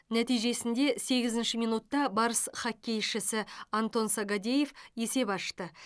нәтижесінде сегізінші минутта барыс хоккейшісі антон сагадеев есеп ашты